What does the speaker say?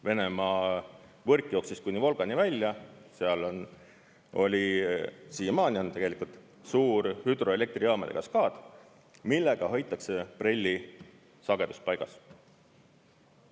Venemaa võrk jooksis kuni Volgani välja, seal oli või siiamaani on tegelikult suur hüdroelektrijaamade kaskaad, millega hoitakse BRELL-i sagedus paigas.